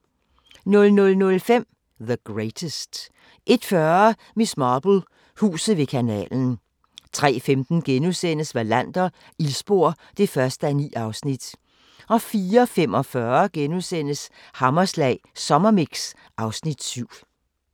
00:05: The Greatest 01:40: Miss Marple: Huset ved kanalen 03:15: Wallander: Ildspor (1:9)* 04:45: Hammerslag Sommermix (Afs. 7)*